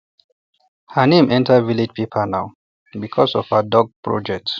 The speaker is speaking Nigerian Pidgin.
her name enter village paper now because of her duck project